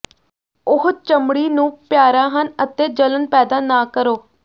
ਉਹ ਚਮੜੀ ਨੂੰ ਪਿਆਰਾ ਹਨ ਅਤੇ ਜਲਣ ਪੈਦਾ ਨਾ ਕਰੋ